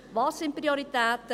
Was sind die Prioritäten?